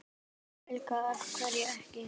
Helga: Af hverju ekki?